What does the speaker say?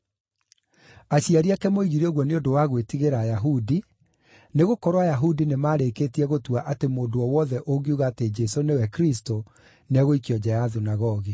Aciari ake moigire ũguo nĩ ũndũ wa gwĩtigĩra Ayahudi, nĩgũkorwo Ayahudi nĩmarĩkĩtie gũtua atĩ mũndũ o wothe ũngiuga atĩ Jesũ nĩwe Kristũ nĩegũikio nja ya thunagogi.